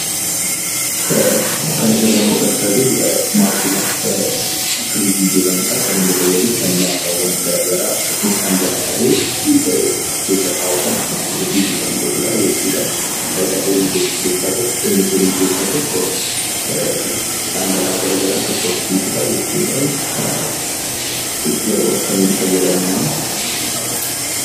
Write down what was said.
Kan asirraa mul'achaa jira maashina firiijii jedhamudhaa kan inni fayyadus lallaafawwan garagaraa akkasumas dhangala'aalee keessa kaa'uudhaan akka qorrisiisu kan godhudha jechuudhaa. Fayidaallee inni kennu keessaa tokko dhangala'aa garagaraa akka qorrisiisudhaa jechuudhaa, yeroo akkamii fayyadamna?